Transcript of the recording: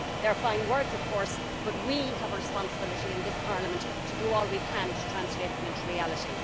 These are fine words of course, but we have a responsibility in this Parliament to do all we can to translate them into reality.